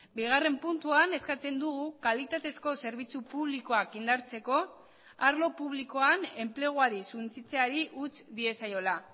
bigarren puntuan eskatzen dugu kalitatezko zerbitzu publikoak indartzeko arlo publikoan enpleguari suntsitzeari utz diezaiola